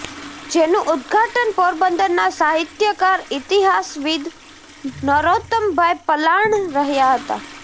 જેનું ઉદઘાટન પોરબંદરના સાહિત્યકાર ઇતિહાસવિદ નરોતમભાઇ પલાણ રહ્યા હતા